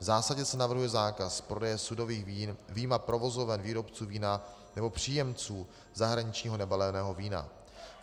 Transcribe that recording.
V zásadě se navrhuje zákaz prodeje sudových vín vyjma provozoven výrobců vína nebo příjemců zahraničního nebaleného vína.